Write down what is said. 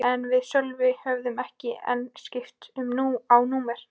En við Sölvi höfðum ekki enn skipst á númerum.